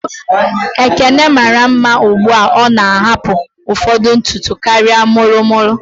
Ekene mara mma ugbua o na ahapu ụfọdụ ntutu karịa molo molo